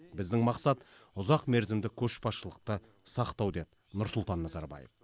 біздің мақсат ұзақмерзімді көшбасшылықты сақтау деді нұрсұлтан назарбаев